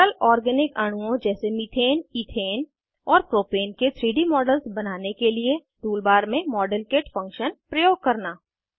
सरल ऑर्गेनिक अणुओं जैसे मिथेन इथेन और प्रोपेन के 3डी मॉडल्स बनाने के लिए टूल बार में मॉडेलकिट फंक्शन प्रयोग करना